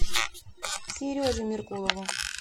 сереже меркулову